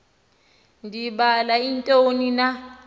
ndibala ntoni na